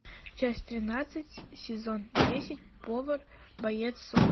часть тринадцать сезон десять повар боец сома